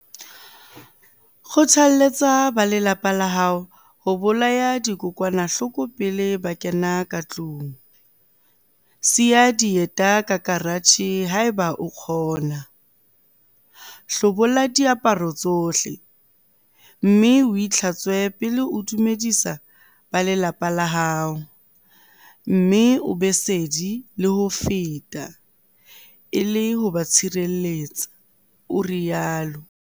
"Kgotha-lletsa ba lelapa la hao ho bolaya dikokwanahloko pele ba kena ka tlung, siya dieta ka karatjhe haeba o kgona, hlobola diaparo tsohle mme o itlhatswe pele o dumedisa ba lelapa la hao mme o be sedi le ho feta e le ho ba tshireletsa," o rialo.